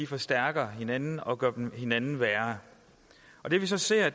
forstærker hinanden og gør hinanden værre det vi så ser